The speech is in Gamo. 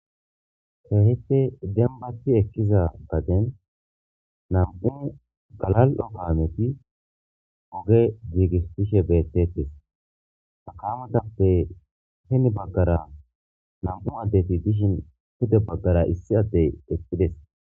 Hehipte dembathi ekkiza gaden nam'u galal'o kaameti oge giigish tishe bettetes hakamatappe hini baggara nam'u addeti dishin hude baggara issi addey ekkides.